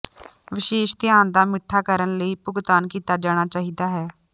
ਵਿਸ਼ੇਸ਼ ਧਿਆਨ ਦਾ ਮਿੱਠਾ ਕਰਨ ਲਈ ਭੁਗਤਾਨ ਕੀਤਾ ਜਾਣਾ ਚਾਹੀਦਾ ਹੈ